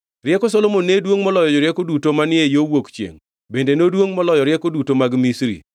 Rieko Solomon ne duongʼ moloyo jorieko duto manie yo wuok chiengʼ, bende noduongʼ moloyo rieko duto mag Misri.